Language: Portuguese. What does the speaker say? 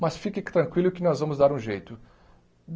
Mas fique tranquilo que nós vamos dar um jeito.